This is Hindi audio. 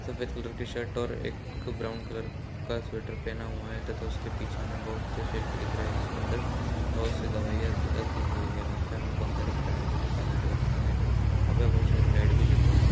सफेद कलर का शर्ट और एक ब्राउन कलर का स्वेटर पहना हुआ हैं तथा उसके पीछे मे बहुत से शेप दिख रहे हैं जिसके अंदर बहुत सी दवाईया लगी हुई हैं वहाँ पे हमे पंख दिख रहा हैं जो की काले कलर का हैं वहाँ पे बहुत सारी लाइटस भी जल रही--